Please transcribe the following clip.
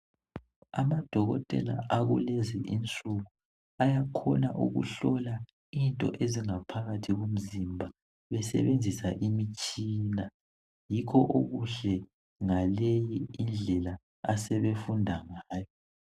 Amadokotela akulezi insuku ayakhona ukuhlola into enga phakathi komzimba besebenzisa imtshina, yikho okuhle ngalindlela asebefunda ngayo.